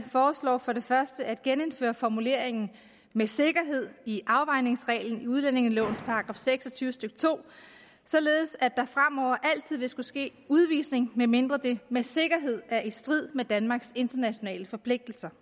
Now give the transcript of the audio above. foreslår for det første at genindføre formuleringen med sikkerhed i afvejningsreglen i udlændingelovens § seks og tyve stykke to således at der fremover altid vil skulle ske udvisning medmindre det med sikkerhed er i strid med danmarks internationale forpligtelser